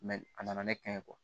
a nana ne kɛ